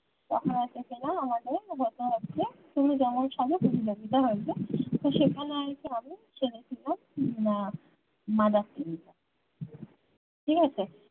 তখন একটা কিনা আমাদের হতো হচ্ছে তুমি যেমন সেখানে আর কি ছেলে ছিল না মাদারটেরিজা ঠিকাছে